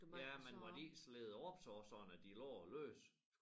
Ja men var de ikke slædet op så sådan at de lå løst